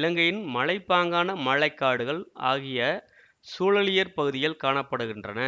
இலங்கையின் மலைப்பாங்கான மழை காடுகள் ஆகிய சூழலியற் பகுதிகள் காண படுகின்றன